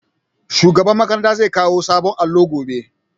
Shugaban makaranta zai kawo sabon allo gobe